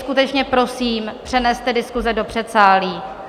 Skutečně prosím, přeneste diskuse do předsálí.